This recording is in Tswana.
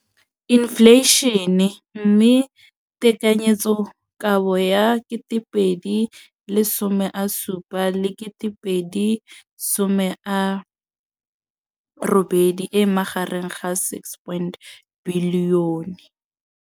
Infleišene, mme tekanyetsokabo ya 2017, 18, e magareng ga R6.4 bilione.